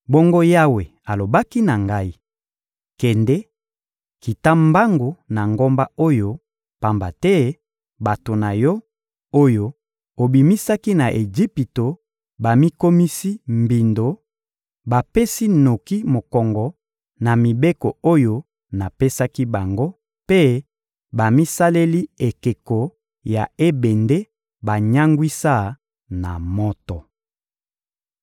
Bongo Yawe alobaki na ngai: «Kende, kita mbangu na ngomba oyo, pamba te bato na yo, oyo obimisaki na Ejipito bamikomisi mbindo; bapesi noki mokongo na mibeko oyo napesaki bango mpe bamisaleli ekeko ya ebende banyangwisa na moto.»